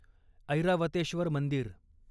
ऐरावतेश्वर मंदिर